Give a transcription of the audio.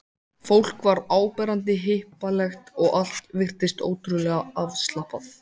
Fólk var áberandi hippalegt og allt virtist ótrúlega afslappað.